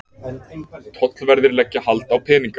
Tollverðir leggja hald á peninga